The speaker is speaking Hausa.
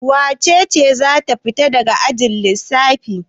Wace ce za ta fita daga ajin lissafi?